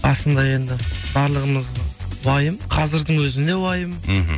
басында енді барлығымыз уайым қазірдің өзінде уайым мхм